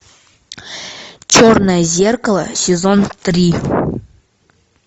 черное зеркало сезон три